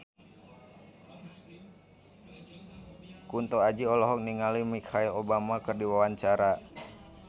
Kunto Aji olohok ningali Michelle Obama keur diwawancara